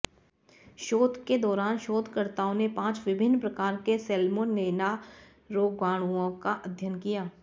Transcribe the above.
शोध के दौरान शोधकर्ताओं ने पांच विभिन्न प्रकार के सैल्मोनेला रोगाणुओं का अध्ययन किया